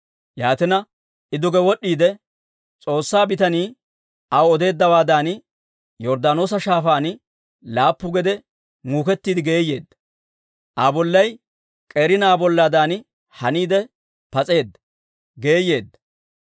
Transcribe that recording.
Yaatina I duge wod'd'iide, S'oossaa bitanii aw odeeddawaadan Yorddaanoosa Shaafaan laappu gede muukettiide geeyeedda. Aa bollay k'eeri na'aa bollaadan haniide pas'eedda; geeyeedda.